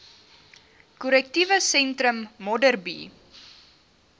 korrektiewe sentrum modderbee